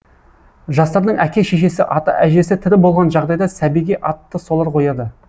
жастардың әке шешесі ата әжесі тірі болған жағдайда сәбиге атты солар қояды